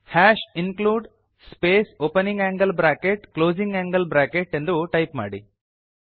hash include space opening angle bracket closing angle bracket ಎಂದು type ಮಾಡಿ